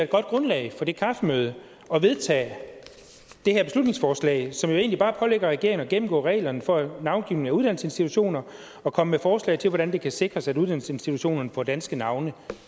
godt grundlag for det kaffemøde at vedtage det her beslutningsforslag som jo egentlig bare pålægger regeringen at gennemgå reglerne for navngivning af uddannelsesinstitutioner og komme med forslag til hvordan det kan sikres at uddannelsesinstitutionerne får danske navne